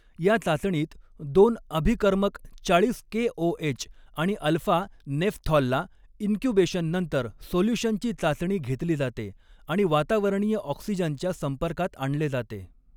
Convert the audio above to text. या चाचणीत दोन अभिकर्मक चाळीस केओएच आणि अल्फा नेफथॉलला इंक्यूबेशननंतर सोल्यूशनची चाचणी घेतली जाते आणि वातावरणीय ऑक्सिजनच्या संपर्कात आणले जाते.